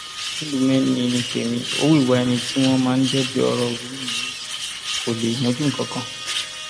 ńdùmẹ ni ní tèmi ò wíwá ẹni tí wọn máa débi ọrọ rú yìí kó lè yanjú nǹkan kan